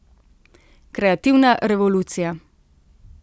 Kreativna revolucija.